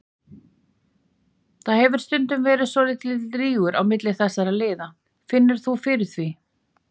Það hefur stundum verið svolítill rígur á milli þessara liða, finnur þú fyrir því?